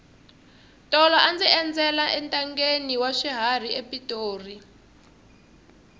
tolo a ndzi endzela entangheni wa swiharhi epitori